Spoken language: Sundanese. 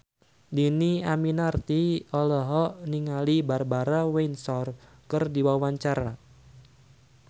Dhini Aminarti olohok ningali Barbara Windsor keur diwawancara